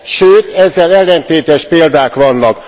Sőt, ezzel ellentétes példák vannak.